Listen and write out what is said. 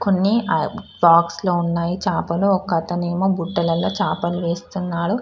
కొన్ని బాక్స్లో లో ఉన్నాయి చాపలు ఒకతను ఏమో గుడ్డలేలో చాపలు వేస్తున్నాడు.